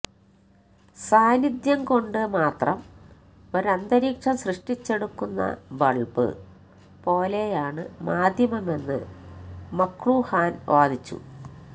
സാന്നിദ്ധ്യംകൊണ്ട് മാത്രം ഒരന്തരീക്ഷം സൃഷ്ടിച്ചെടുക്കുന്ന ബള്ബ് പോലെയാണ് മാധ്യമമെന്ന് മക്ലുഹാന് വാദിച്ചു